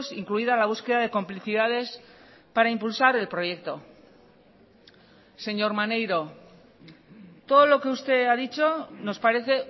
incluida la búsqueda de complicidades para impulsar el proyecto señor maneiro todo lo que usted ha dicho nos parece